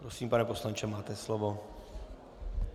Prosím, pane poslanče, máte slovo.